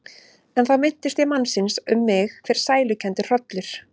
En þá minnist ég mannsins og um mig fer sælukenndur hrollur.